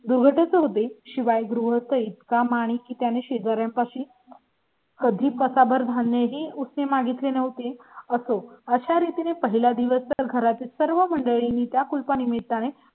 दोघेच होते. शिवाय गोळीत काम आणि की त्याने शेजार् यापा शी. कधी पसा भर धान्य ही उस ने मागितले नव्हते. असो, अशा रीतीने पहिला दिवस घरातील सर्व मंडळींनी त्या खुरपणी मिळत आहे